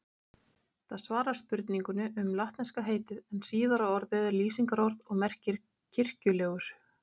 Það svarar spurningunni um latneska heitið en síðara orðið er lýsingarorð og merkir kirkjulegur.